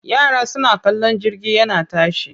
Yara suna kallon jirgi yana tashi.